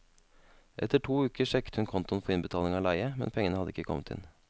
Etter to uker sjekket hun kontoen for innbetaling av leie, men pengene hadde ikke kommet inn.